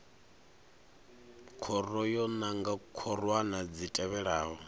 khoro yo nanga khorwana dzi tevhelaho